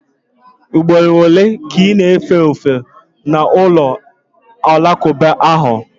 Ugboro ole ka ị na-efe ofufe na ụlọ alakụba ahụ?